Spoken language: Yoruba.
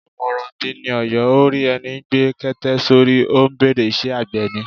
Àmọ̀ràn bi ni Ọ̀yọ́, ó rí ẹni gbé kete sórí, ó bèrè Ṣé àgbẹ̀ ni?